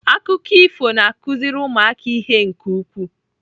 Akụkọ ifo na-akụziri ụmụaka ihe nke ukwuu.